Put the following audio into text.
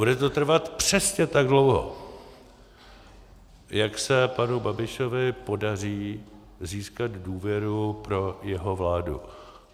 Bude to trvat přesně tak dlouho, jak se panu Babišovi podaří získat důvěru pro jeho vládu.